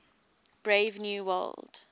brave new world